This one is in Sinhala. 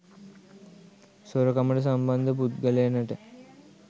සොරකමට සම්බන්ධ පුද්ගලයනට